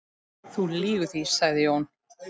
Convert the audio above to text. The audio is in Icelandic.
Þú lýgur því, sagði Jón.